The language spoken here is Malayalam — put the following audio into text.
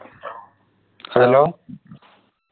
hello